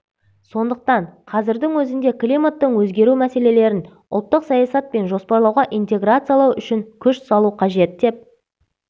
сондықтан қазірдің өзінде климаттың өзгеру мәселелерін ұлттық саясат пен жоспарлауға интеграциялау үшін күш салу қажет деп